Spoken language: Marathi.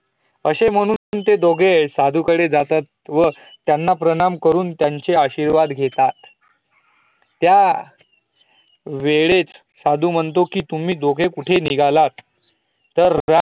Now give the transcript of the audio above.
अशे म्हणून ते दोघेही त्या साधू कळे जातात त्यांना प्रणाम करून त्यांचे आशिर्वाद घेतात त्या वेळेत साधू म्हणतो की, तूम्ही दोघे कुठे निघालात?